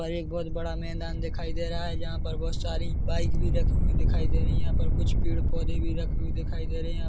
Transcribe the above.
-- पर एक बोहत बड़ा मैदान दिखाई दे रहा है जहाँ पर बोहत सारी बाइक भी रखी हुई दिखाई दे रही है यहाँ पर कुछ पेड़ पौधे भी रखे हुए दिखाई दे रहे है। यहाँ--